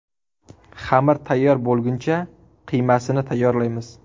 Xamir tayyor bo‘lguncha qiymasini tayyorlaymiz.